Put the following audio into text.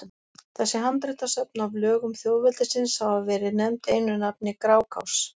Þessi handritasöfn af lögum þjóðveldisins hafa verið nefnd einu nafni Grágás.